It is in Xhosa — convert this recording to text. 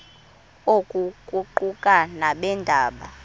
oku kuquka nabeendaba